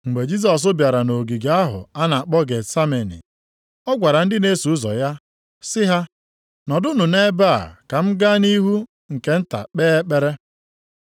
Mgbe Jisọs bịara nʼogige ahụ a na-akpọ Getsameni, ọ gwara ndị na-eso ụzọ ya sị ha, “Nọdụnụ nʼebe a ka m gaa nʼihu nke nta kpee ekpere.”